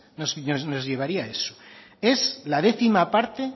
nos llevaría eso es la décima parte